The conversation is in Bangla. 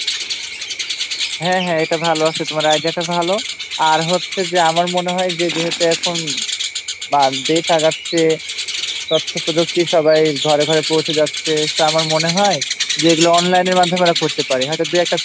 হ্যাঁ হ্যাঁ এটা ভালো আছে তোমার Idea-টা ভালো আর হচ্ছে যে আমার মনে হয় যে যেহেতু বা দেশ আগাচ্ছে তথ্যপ্রযুক্তি সবার ঘরে ঘরে পৌঁছে যাচ্ছে আমার মনে হয় যে এগুলো Online-র মাধ্যমে ওরা করতে পারে হয়তো দু'একটা